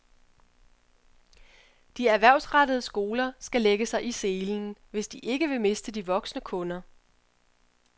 De erhvervsrettede skoler skal lægge sig i selen, hvis de ikke vil miste de voksne kunder.